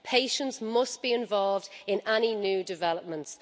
Patients must be involved in any new developments.